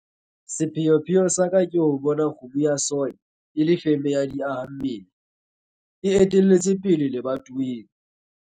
Sepheopheo sa ka ke ho bona kgomo ya soy e le feme ya di-aha-mmele, e etelletseng pele lebatoweng.